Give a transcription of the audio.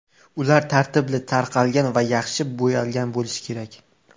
Ular tartibli, taralgan va yaxshi bo‘yalgan bo‘lishi kerak.